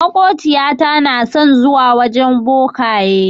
Maƙociyata na son zuwa gun bokaye.